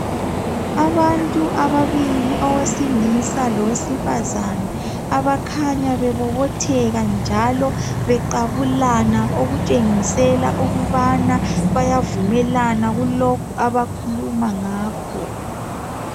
Abantu ababili owesilisa lowesifazana abakhanya bebobotheka njalo beqabulana okutshengisela ukubana bayavunlmelana kulokhu abakhuluma ngakho.